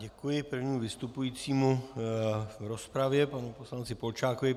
Děkuji prvnímu vystupujícímu v rozpravě, panu poslanci Polčákovi.